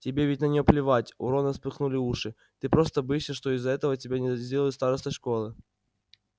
тебе ведь на нее плевать у рона вспыхнули уши ты просто боишься что из-за этого тебя не сделают старостой школы